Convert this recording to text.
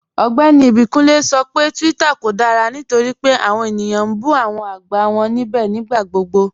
Ọgbẹ́ni Ibikunle sọ pé Twitter kò dára nítorí pé awọn ènìyàn n bú awọn agbá wọn nibẹ̀ nigbàgbọ̀gbọ̀.